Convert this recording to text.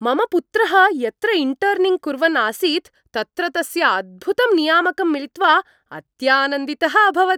मम पुत्रः यत्र इण्टर्निङ्ग् कुर्वन् आसीत् तत्र तस्य अद्भुतं नियामकं मिलित्वा अत्यानन्दितः अभवत्।